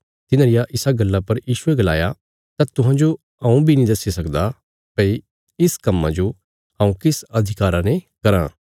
तिन्हां रिया इसा गल्ला पर यीशुये गलाया तां तुहांजो हऊँ बी नीं दस्सी सकदा भई इस कम्मां जो हऊँ किस अधिकारा ने कराँ